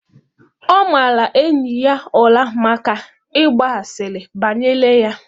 Ọ mara enyi ya ụra maka ịgba asịrị banyere ya.